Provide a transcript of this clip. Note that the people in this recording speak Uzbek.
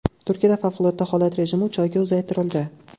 Turkiyada favqulodda holat rejimi uch oyga uzaytirildi.